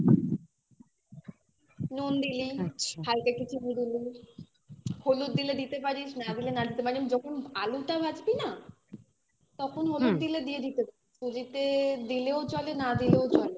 নুন দিলি হালকা কিছু হলুদ দিলে দিতে পারিস না দিলে না দিতে পারিস যখন আলুটা ভাজবি না তখন হলুদ দিলে দিয়ে দিতে পারিস সুজিতে দিলেও চলে না দিলেও চলে